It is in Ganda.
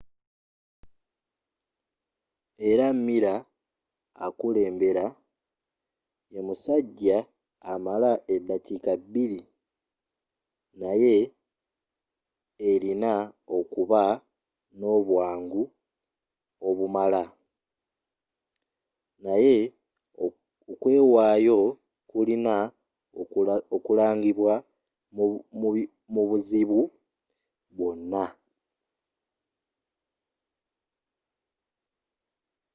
era miler akulembera ye musajja amala eddakiika bbiri naye erina okuba n'obwangu obumala naye okwewaayo kulina okulagibwa mu buzibu bwonna